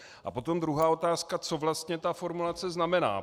A potom druhá otázka - co vlastně ta formulace znamená.